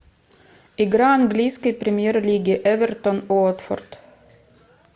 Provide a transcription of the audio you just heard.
игра английской премьер лиги эвертон уотфорд